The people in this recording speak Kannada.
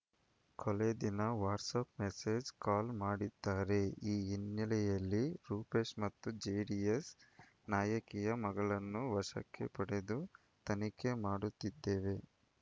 ಕೊಲೆ ದಿನ ವಾಟ್ಸಪ್ ಮೆಸೇಜ್ ಕಾಲ್ ಮಾಡಿದ್ದಾರೆ ಈ ಹಿನ್ನೆಲೆಯಲ್ಲಿ ರೂಪೇಶ್ ಮತ್ತು ಜೆಡಿಎಸ್ ನಾಯಕಿಯ ಮಗಳನ್ನು ವಶಕ್ಕೆ ಪಡೆದು ತನಿಖೆ ಮಾಡುತ್ತಿದ್ದೇವೆ